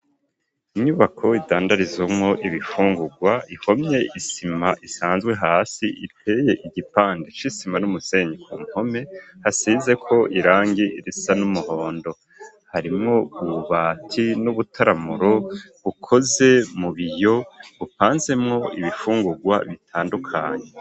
Inyubako idandarizwamwo ibifungurwa ihomye isima isanzwe hasi iteye igipande c'isima n'umusenyi ku mpome hasizeko irangi risa n'umuhondo harimwo ububati n'ubutaramuro bukoze mu biyo bupanzemwo ibifungurwa bitandukanye.